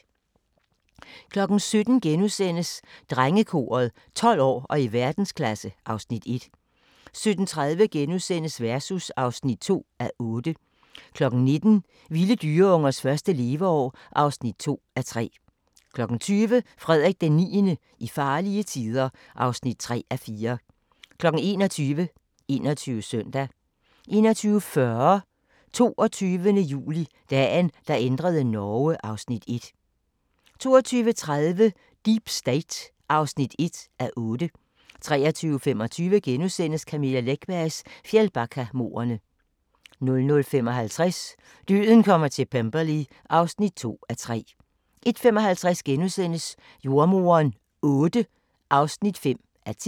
17:00: Drengekoret: 12 år og i verdensklasse (Afs. 1)* 17:30: Versus (2:8)* 19:00: Vilde dyreungers første leveår (2:3) 20:00: Frederik IX – i farlige tider (3:4) 21:00: 21 Søndag 21:40: 22. juli – Dagen, der ændrede Norge (Afs. 1) 22:30: Deep State (1:8) 23:25: Camilla Läckbergs Fjällbackamordene * 00:55: Døden kommer til Pemberley (2:3) 01:55: Jordemoderen VIII (5:10)*